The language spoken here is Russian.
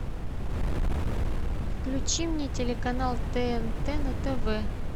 включи мне телеканал тнт на тв